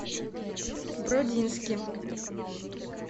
бродински